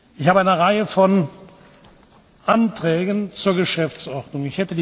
Ich habe eine Reihe von Anträgen zur Geschäftsordnung.